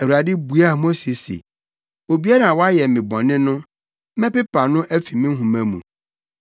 Awurade buaa Mose se, “Obiara a wayɛ me bɔne no, mɛpepa no afi me nhoma mu.